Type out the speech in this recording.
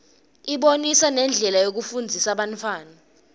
ibonisa nendlela yokufundzisa bantfwana